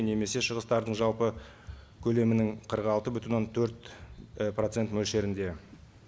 немесе шығыстардың жалпы көлемінің қырық алты бүтін он төрт процент мөлшерінде